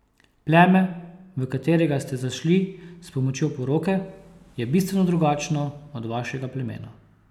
Pleme, v katerega ste zašli s pomočjo poroke, je bistveno drugačno od vašega plemena.